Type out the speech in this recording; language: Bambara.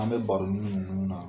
An bɛ baronun nunnu na